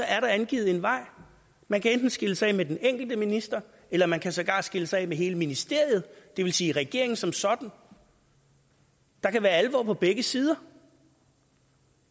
er der angivet en vej man kan enten skille sig af med den enkelte minister eller man kan sågar skille sig af med hele ministeriet det vil sige regeringen som sådan der kan være alvor på begge sider